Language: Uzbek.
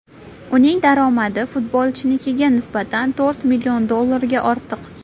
Uning daromadi futbolchinikiga nisbatan to‘rt million dollarga ortiq.